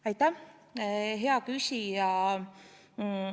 Aitäh, hea küsija!